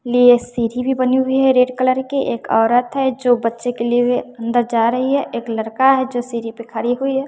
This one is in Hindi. लिए सीढ़ी भी बनी हुई है रेड कलर के एक औरत है जो बच्चे को लिए हुए अंदर जा रही है एक लड़का है जो सीढ़ी पे खरी हुई है।